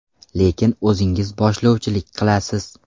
Lekin o‘zingiz boshlovchilik qilasiz.